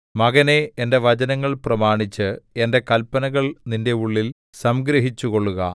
മകനേ എന്റെ വചനങ്ങൾ പ്രമാണിച്ച് എന്റെ കല്പനകൾ നിന്റെ ഉള്ളിൽ സംഗ്രഹിച്ചുകൊള്ളുക